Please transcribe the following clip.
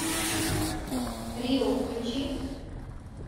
рио включи